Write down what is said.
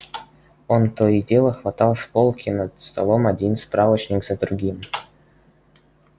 он то и дело хватал с полки над столом один справочник за другим